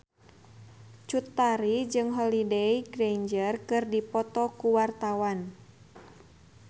Cut Tari jeung Holliday Grainger keur dipoto ku wartawan